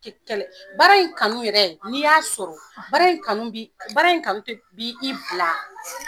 baara in kanu yɛrɛ n'i y'a sɔrɔ, baara in kanu bi, baara in kanu ti bi i bila.